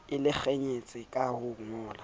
a lekanyetsang ka ho ngolla